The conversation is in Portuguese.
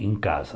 em casa.